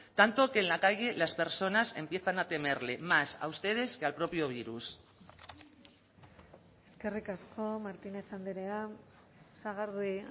tanto que en la calle las personas empiezan a temerle más a ustedes que al propio virus eskerrik asko martínez andrea sagardui